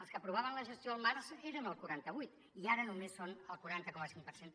els que aprovaven la gestió al març eren el quaranta vuit i ara només són el quaranta coma cinc per cent